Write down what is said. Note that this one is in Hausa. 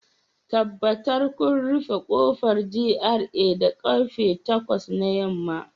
Tabbatar kun rufe kofar GRA da karfe takwas na yamma